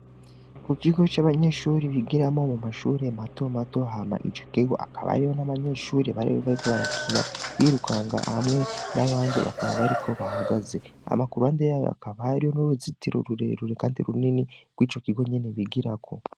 Ku gigo c'abanyeshuri bigiramo mu mashure mato mato hama ije kego akabariho n'abanyeshuri baribe bariko barakina birukanga hamwe n'abandi bakaba bariko bahagaze amakuru ande yayo akabario n'uruzitiro rurerure, kandi runini rw'ico kigo nyene bigirako.